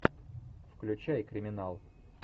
включай криминал